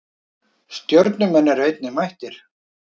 Stjörnumenn eru einnig mættir.